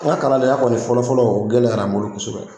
N ka kalaya kɔni fɔlɔfɔlɔ o gɛlɛyara n bolo kosɛbɛ.